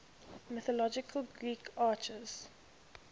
mythological greek archers